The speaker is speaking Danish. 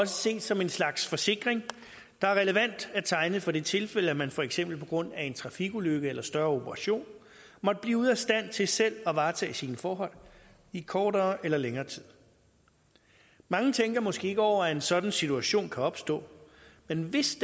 ses som en slags forsikring der er relevant at tegne for det tilfælde at man for eksempel på grund af en trafikulykke eller større operation måtte blive ude af stand til selv at varetage sine forhold i kortere eller længere tid mange tænker måske ikke over at en sådan situation kan opstå men hvis